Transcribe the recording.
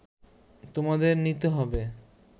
তোমাদের নিতে হবে